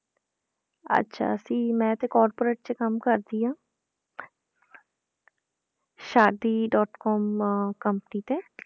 ਅੱਛਾ ਜੀ ਮੈਂ ਤੇ corporate 'ਚ ਕੰਮ ਕਰਦੀ ਹਾਂ ਸ਼ਾਦੀ dot com company ਤੇ,